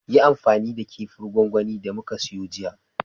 Yi amfani da kifin gwangwani da muka siyo jiya